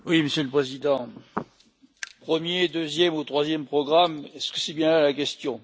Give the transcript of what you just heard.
Monsieur le Président, premier, deuxième ou troisième programme, est ce la bonne question?